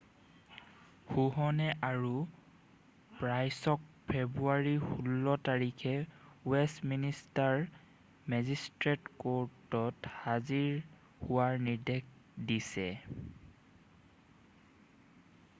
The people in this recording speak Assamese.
হুহনে আৰু প্ৰাইছক ফেব্ৰুৱাৰী 16 তাৰিখে ৱেষ্ট মিনিষ্টাৰ মেজিষ্ট্ৰেট ক'ৰ্টত হাজিৰ হোৱাৰ নিৰ্দেশ দিছে